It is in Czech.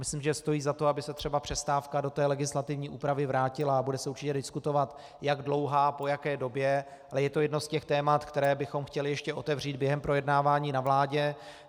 Myslím, že stojí za to, aby se třeba přestávka do té legislativní úpravy vrátila, a bude se určitě diskutovat, jak dlouhá, po jaké době, ale je to jedno z těch témat, která bychom chtěli ještě otevřít během projednávání ve vládě.